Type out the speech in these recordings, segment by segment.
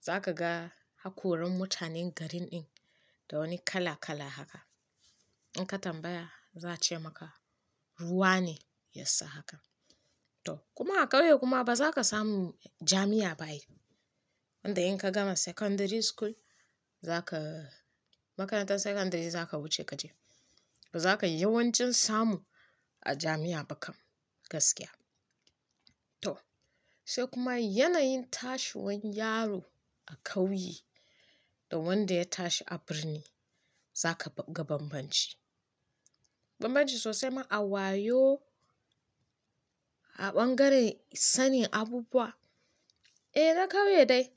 Zaka ga hakoran mutanen garin ɗin da wani kala-kala haka. In ka tambaya za a ce maka ruwa ne ya sa haka. To, kuma a kauye kuma ba zaka samu jami'a ba ai inda in ka gama secondary school zaka makarantar secondary zaka wuce kaje. Zaka yawancin samu a jami'a ba kam gaskiya. To, sai kuma yanayin tashi wan yaro a kauye da wanda ya tashi a birni zaka ga banbanci. Banbanci sosai ma a wayo, a ɓangaren sani abubuwa. Eh, na kauye dai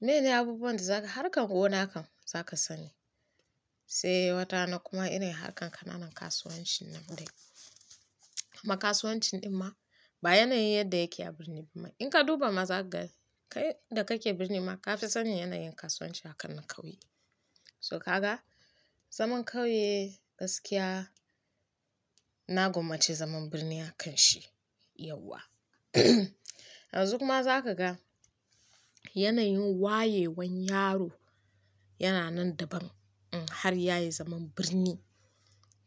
mene abubuwan da zaka harkan gona kan zaka sani. Sai wata na kuma ina harkan ƙananan kasuwancin nan dai. Amma kasuwancin ɗin ma ba yanayin yadda yake a birni ba mai. In ka duba ma zaka ga kai da kake birni ma ka fi sanin yanayin kasuwanci akan na kauye. So ka ga zaman kauye gaskiya na gwammaci zaman birni akan shi yauwa. Yanzu kuma zaka ga yanayin wayewan yaro yana nan daban in har yayi zaman birni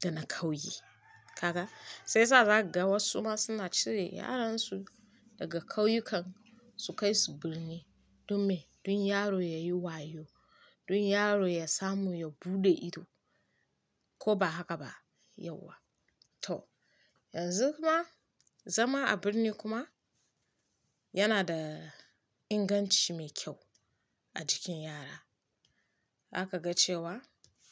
da na kauye. Kaga shiyasa zaka ga wasu ma suna cire yaran su daga kauyukan su kai su birni don me don yaro ya yi wayo, don yaro ya samu ya buɗe ido koba haka ba yauwa. To, yanzu kuma zama a birni kuma yana da inganci mai kyau a jikin yara. Zaka ga cewa.